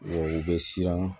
U bɛ siran